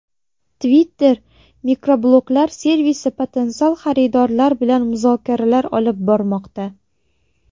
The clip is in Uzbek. Twitter mikrobloglar servisi potensial xaridorlar bilan muzokaralar olib bormoqda.